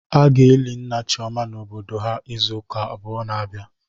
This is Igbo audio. A ga-eli nna Chioma n'obodo ha izuụka abụọ na-abịa.